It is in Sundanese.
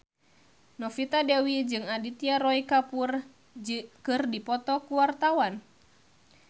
Novita Dewi jeung Aditya Roy Kapoor keur dipoto ku wartawan